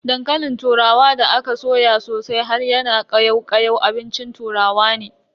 Dankalin turawa da aka soya sosai har yana kayau kayau abincin turawa ne.